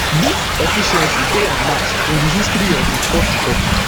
dis efficiency dey unmatched in di history of di fourth republic